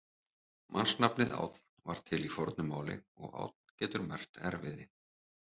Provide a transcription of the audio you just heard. Mannsnafnið Ánn var til í fornu máli og ánn getur merkt erfiði.